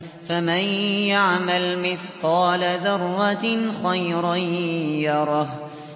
فَمَن يَعْمَلْ مِثْقَالَ ذَرَّةٍ خَيْرًا يَرَهُ